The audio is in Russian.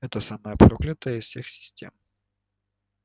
это самая проклятая из всех систем